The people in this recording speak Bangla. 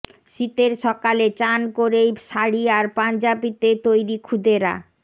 শীতের সকালে চান করেই শাড়ি আর পাঞ্জাবিতে তৈরি ক্ষুদেরা